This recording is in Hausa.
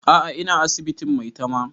A'a ina asibitin maitama